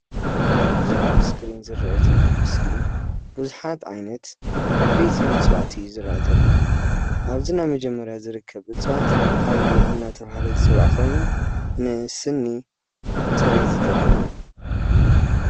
እዚ ኣብ እስክሪነ ዝርአ ዘሎ ምስሊ ቡዙሓት ዓይነት ዓቦይቲ እፅዋት እዪ ዝርአ ዘሎ ። ኣብዚ ናይ መጀመርያ ዝርከብ እፅዋት ኣውሊዕ እናተብሃለ ዝፍለጥ ኾይኑ ንስኒ ፅሬት ዝጠቅም እዩ።